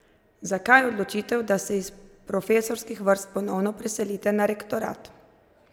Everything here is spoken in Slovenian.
Zakaj odločitev, da se iz profesorskih vrst ponovno preselite na rektorat?